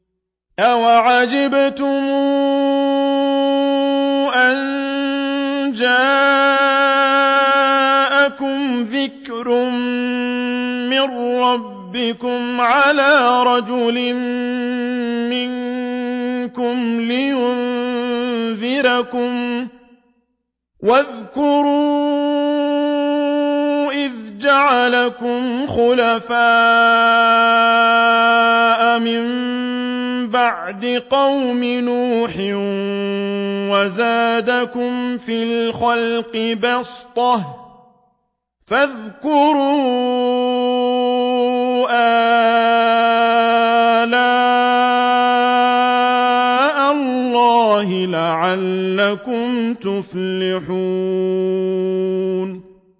أَوَعَجِبْتُمْ أَن جَاءَكُمْ ذِكْرٌ مِّن رَّبِّكُمْ عَلَىٰ رَجُلٍ مِّنكُمْ لِيُنذِرَكُمْ ۚ وَاذْكُرُوا إِذْ جَعَلَكُمْ خُلَفَاءَ مِن بَعْدِ قَوْمِ نُوحٍ وَزَادَكُمْ فِي الْخَلْقِ بَسْطَةً ۖ فَاذْكُرُوا آلَاءَ اللَّهِ لَعَلَّكُمْ تُفْلِحُونَ